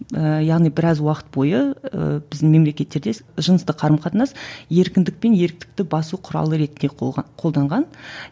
ыыы яғни біраз уақыт бойы ыыы біздің мемлекеттерде жыныстық қарым қатынас еркіндік пен еріктікті басу құралы ретінде қолданған